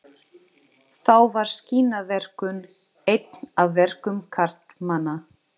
Þá var skinnaverkun eitt af verkum karlmanna.